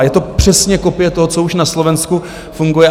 A je to přesně kopie toho, co už na Slovensku funguje.